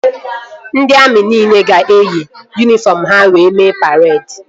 Ndị amị nile ga-eyi yunifọm ha wee mee paredi